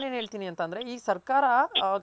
ನಾನ್ ಏನ್ ಹೇಳ್ತೀನಿ ಅಂತಂದ್ರೆ ಈ ಸರ್ಕಾರ